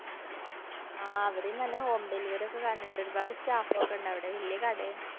ആ ഇവിടെം നല്ല home delivery ഒക്കെ കാണണുണ്ട്. ഒരുപാട് staff ഒക്കെണ്ടവടെ. വല്യ കടയും.